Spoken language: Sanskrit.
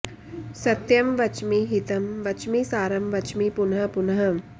सत्यं वच्मि हितं वच्मि सारं वच्मि पुनः पुनः